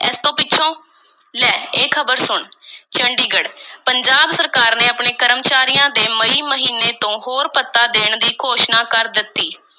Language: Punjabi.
ਇਸ ਤੋਂ ਪਿੱਛੋਂ, ਲੈ ਇਹ ਖ਼ਬਰ ਸੁਣ, ਚੰਡੀਗੜ੍ਹ, ਪੰਜਾਬ ਸਰਕਾਰ ਨੇ ਆਪਣੇ ਕਰਮਚਾਰੀਆਂ ਦੇ ਮਈ ਤੋਂ ਹੋਰ ਭੱਤਾ ਦੇਣ ਦੀ ਘੋਸ਼ਣਾ ਕਰ ਦਿੱਤੀ।